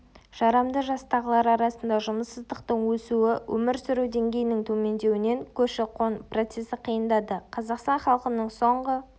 жарамды жастағылар арасында жұмыссыздықтың өсуі өмір сүру деңгейінің төмендеуінен көші-қон процесі қиындады қазақстан халқының соңғы